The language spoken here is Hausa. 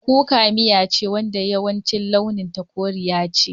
Kuka miya ce wadda yawanci launin ta koriya ce.